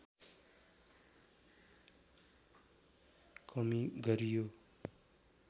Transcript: कमी गरियो